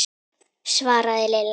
svaraði Lilla.